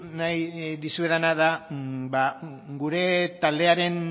nahi dizuedana da gure taldearen